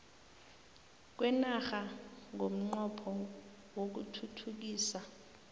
kwenarha ngomnqopho wokuthuthukisa